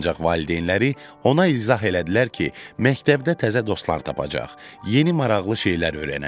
Ancaq valideynləri ona izah elədilər ki, məktəbdə təzə dostlar tapacaq, yeni maraqlı şeylər öyrənəcək.